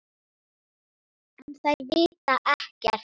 En þær vita ekkert.